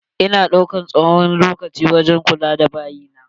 Ina daukan tsawon lokaci wurin kula da bayi na.